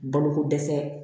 Bolokodɛsɛ